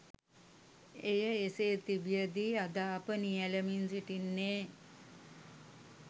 එය එසේ තිබියදී අද අප නියැලෙමින් සිටින්නේ